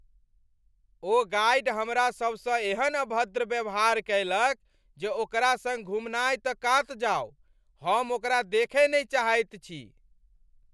ओ guide हमरासभसँ एहन अभद्र व्यवहार कयलक जे ओकरा सङ्ग घुमनाय तऽ कात जाओ, हम ओकरा देखय नहि चाहैत छी।